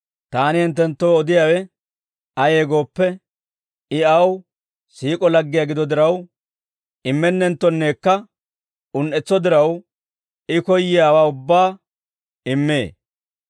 Taani hinttenttoo odiyaawe ayee gooppe, I aw siik'o laggiyaa gido diraw, immennenttonneekka un"etso diraw I koyyiyaawaa ubbaa immee.